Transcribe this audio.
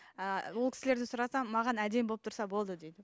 ы ол кісілерден сұрасам маған әдемі болып тұрса болды дейді